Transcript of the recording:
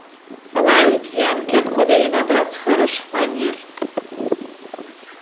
она ведь янки откуда ей набраться хороших манер